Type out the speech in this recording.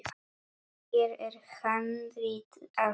Hér er handrit að sögu.